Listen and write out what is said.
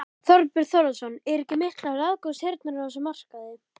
Þorbjörn Þórðarson: Eru ekki miklar aðgangshindranir á þessum markaði?